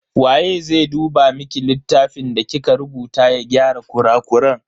Waye zai duba miki littafin da kika rubuta ya gyara kurakuran?